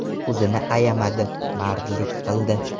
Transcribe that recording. O‘zini ayamadi, mardlik qildi.